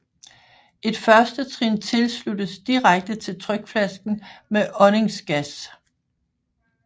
Et førstetrin tilsluttes direkte til trykflasken med åndingsgas